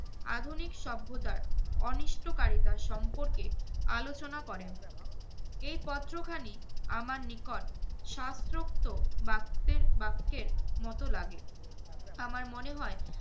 আধুনিক সভ্যতার অনিষ্টকারিতার সম্পর্কে আলোচনা করেন। এই পত্রখানি আমার নিকট শাস্ত্রোক্ত বাক্তের~ বাক্যের মত লাগে। আমার মনে হয়